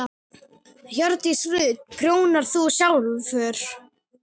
Hjördís Rut: Prjónar þú sjálfur?